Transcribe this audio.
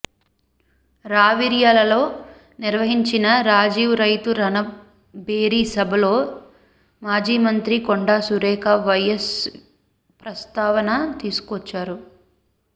రావిర్యాలలో నిర్వహించిన రాజీవ్ రైతు రణ భేరీ సభలో మాజీ మంత్రి కొండా సురేఖ వైఎస్ ప్రస్తావన తీసుకొచ్చారు